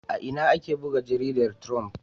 A ina ake buga jaridar Triump?